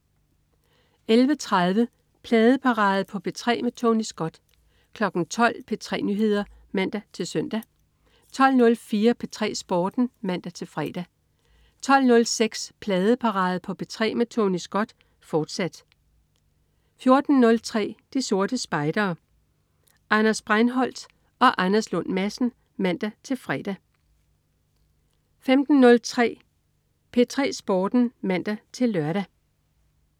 11.30 Pladeparade på P3 med Tony Scott 12.00 P3 Nyheder (man-søn) 12.04 P3 Sporten (man-fre) 12.06 Pladeparade på P3 med Tony Scott, fortsat 14.03 De Sorte Spejdere. Anders Breinholt og Anders Lund Madsen (man-fre) 15.03 P3 Sporten (man-lør)